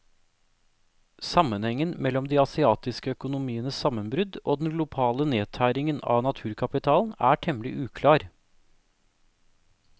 Sammenhengen mellom de asiatiske økonomienes sammenbrudd og den globale nedtæringen av naturkapitalen er temmelig uklar.